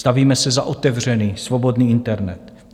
Stavíme se za otevřený, svobodný internet.